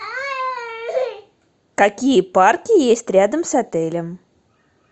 какие парки есть рядом с отелем